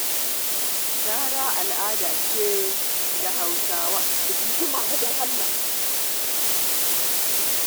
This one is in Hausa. Gara al'ada ce da Hausawa suke aiwatar da ita tun tale-tale.